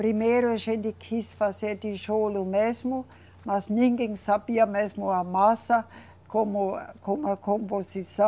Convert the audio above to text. Primeiro a gente quis fazer tijolo mesmo, mas ninguém sabia mesmo a massa, como, como a composição.